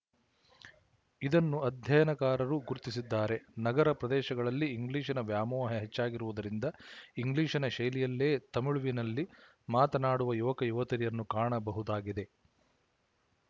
ಇದನ್ನು ಅಧ್ಯಯನಕಾರರೂ ಗುರುತಿಸಿದ್ದಾರೆ ನಗರ ಪ್ರದೇಶಗಳಲ್ಲಿ ಇಂಗ್ಲಿಶ‍ನ ವ್ಯಾಮೋಹ ಹೆಚ್ಚಾಗಿರುವುದರಿಂದ ಇಂಗ್ಲಿಶ‍ನ ಶೈಲಿಯಲ್ಲಿಯೇ ತಮಿಳುವಿನಲ್ಲಿ ಮಾತನಾಡುವ ಯುವಕಯುವತಿಯರನ್ನು ಕಾಣಬಹುದಾಗಿದೆ